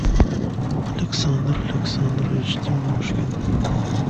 александр александрович тимошкин